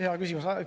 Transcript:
Hea küsimus!